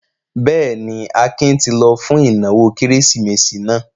Bẹ́ẹ̀ ni, Akin ti lọ fún ìnáwó Kérésìmesì náà.